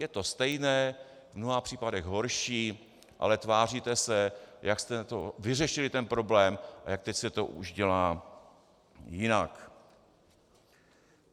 Je to stejné, v mnoha případech horší, ale tváříte se, jak jste vyřešili ten problém a jak teď se to už dělá jinak.